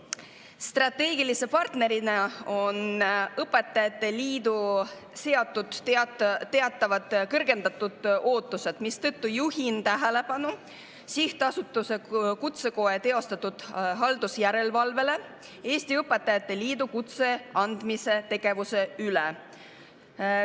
Strateegilise partnerina on õpetajate liidule seatud teatavad kõrgendatud ootused, mistõttu juhin tähelepanu sihtasutuse Kutsekoda teostatud haldusjärelevalvele Eesti Õpetajate Liidu kutse andmise tegevuse üle.